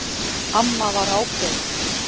Amma var ákveðin.